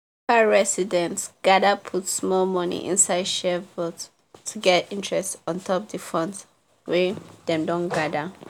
residents gather put small money inside shared vault to get interest ontop the funds wey dem don gather.